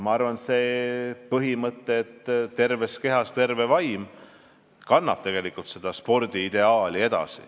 Ma arvan, et põhimõte "terves kehas terve vaim" kannab edasi spordiideaali.